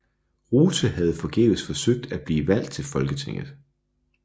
Rothe havde forgæves forsøgt at blive valgt til Folketinget